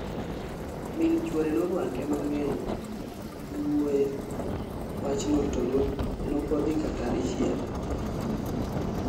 Min chwore noruake mang'eny giwuoye wachno to nokodhi kata dichiel